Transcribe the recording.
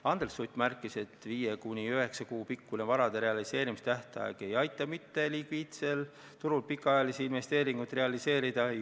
Andres Sutt märkis, et 5–9 kuu pikkune varade realiseerimise tähtaeg ei aita mittelikviidsel turul pikaajalisi investeeringuid realiseerida.